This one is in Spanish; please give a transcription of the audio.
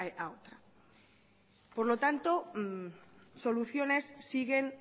a una por lo tanto soluciones siguen